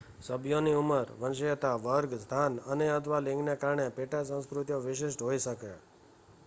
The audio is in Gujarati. સભ્યોની ઉંમર વંશીયતા વર્ગ સ્થાન અને/અથવા લિંગને કારણે પેટા સંસ્કૃતિઓ વિશિષ્ટ હોઈ શકે